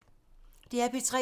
DR P3